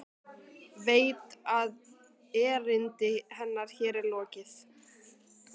Veit að erindi hennar hér er lokið.